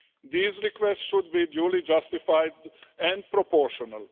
These requests should be duly justified and proportional.